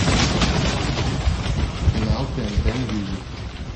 канал тнт мьюзик